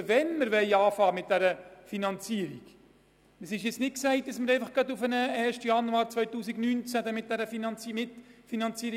Der Zeitpunkt für den Beginn der Mitfinanzierung ist noch offen, voraussichtlich wird es nicht bereits ab dem 1. Januar 2019 dazu kommen.